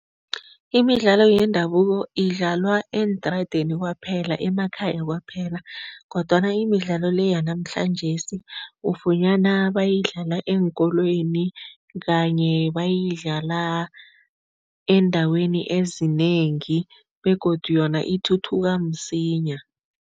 Imidlalo yendabuko idlalwa eentradeni kwaphela, emakhaya kwaphela kodwana imidlalo le yanamhlanjesi ufunyana bayidlala eenkolweni kanye bayidlala eendaweni ezinengi begodu yona ithuthuka msinya.